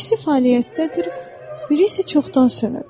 İkisi fəaliyyətdədir, biri isə çoxdan sönüb.